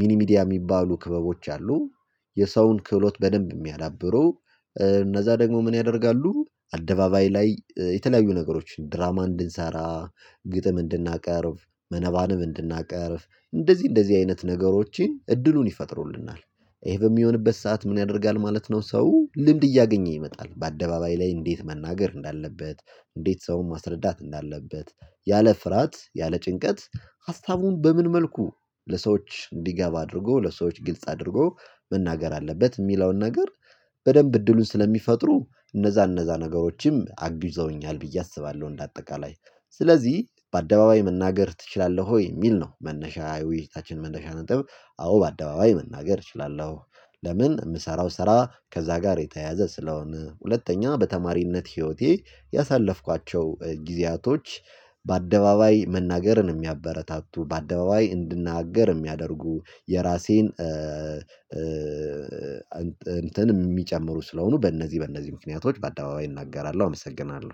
ሚኒሚዲያ የሚባሉ ክበቦች አሉ የሰውን ክህሎት በደንብ የሚያዳብሩ። እነዛ ደግሞ ምን ያደርጋሉ፤ አደባባይ ላይ የተለያዩ ነገሮችን ድራማ እንድንሰራ ግጥም እንድናቀርብ፣ መነባንብ እንድናቀርብ እንደዚህ እንደዚህ አይነት ነገሮችን እድሉን ይፈጥሩልናል። ይሄ በሚሆንበት ሰዓት ምን ያደርጋል ማለት ነው ሰው ልምድ እያገኘ ይመጣል በአደባባይ ላይ እንዴት መናገር እንዳለበት፣ እንዴት ሰውን ማስረዳት እንዳለበት ያለ ፍርሃት፣ ያለ ጭንቀት ሀሳቡን በምን መልኩ ለሰዎች እንዲገባ አድርጎ ለሰዎች ግልጽ አድርጎ መናገር አለበት የሚለውን ነገር በደንብ እድሉን ስለሚፈጥሩ እነዛ እነዛ ነገሮችም አግዘውኛል ብዬ አስባለሁ። እንደአጠቃላይ "በአደባባይ መናገር ትችላለህ ወይ?" የሚል ነው መነሻ የውይይታችን መነሻ ነጥብ። አዎ በአደባባይ መናገር እችላለሁ። ለምን የምሰራው ስራ ከዛ ጋር የተያያዘ ስለሆነ፣ ሁለተኛ በተማሪነት ህይወቴ ያሳለፍኳቸው ጊዜያቶች በአደባባይ መናገርን የሚያበረታቱ፣ በአደባባይ እንድናገር የሚያደርጉ፣ የራሴን እንትን የሚጨምሩ ስለሆኑ በእነዚህ በእነዚህ ምክንያቶች በአደባባይ እናገራለሁ። አመሰግናለሁ!